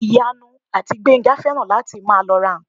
Ìyanu àti Gbénga fẹ́ràn láti máa lọ ra ǹkan